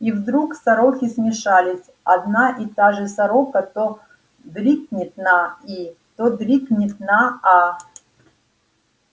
и вдруг сороки смешались одна и та же сорока то дрикнет на и то дрикнет на а